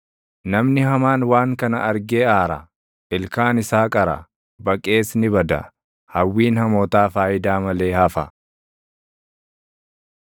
Namni hamaan waan kana argee aara; ilkaan isaa qara; baqees ni bada; hawwiin hamootaa faayidaa malee hafa.